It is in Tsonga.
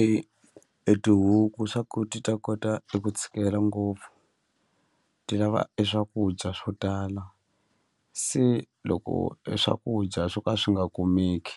E e tihuku swa ku ti ta kota eku tshikela ngopfu ti lava e swakudya swo tala se loko e swakudya swo ka swi nga kumeki